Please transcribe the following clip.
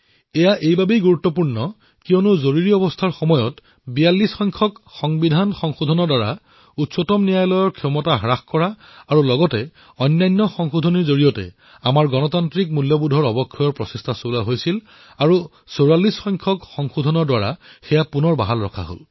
এয়া এইবাবেই গুৰুত্বপূৰ্ণ কিয়নো জৰুৰীকালীন অৱস্থাত যি ৪২তম সংশোধনী কৰা হৈছিল যত উচ্চতম ন্যায়ালয়ৰ শক্তিক কম কৰাৰ ব্যৱস্থা কৰা হৈছিল যি আমাৰ গণতান্ত্ৰিক মূল্যবোধত আঘাত হানিছিল তাক পুনৰ ওভতাই পঠিওৱা হল